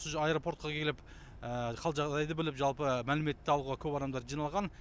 аэропортқа келіп қал жағдайды біліп жалпы мәлімет алуға көп адамдар жиналған